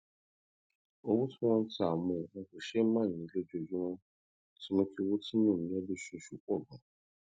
owó tí wón ń ta àwọn nǹkan kòṣeémánìí lójoojúmó ti mú kí owó tí mò ń ná lóṣooṣù pò ganan